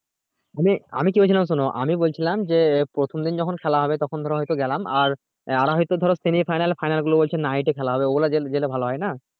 মানে আমি কি বলছিলাম শোনো আমি বলছিলাম যে প্রথম দিন যখন খেলা হবে তখন ধরো হয় তো গেলাম আর হয় তো ধরো semi final final গুলো বলছে night এ খেলা হবে ওগুলো জেলে জেলে ভালো হয় না